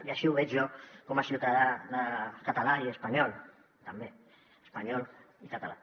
i així ho veig jo com a ciutadà català i espanyol també espanyol i català